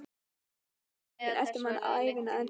Ætli fyrirmyndirnar elti mann ævina á enda?